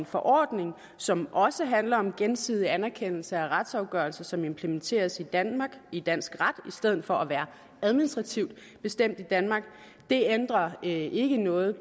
forordning som også handler om gensidig anerkendelse af retsafgørelser som implementeres i danmark i dansk ret i stedet for at være administrativt bestemt i danmark det ændrer ikke noget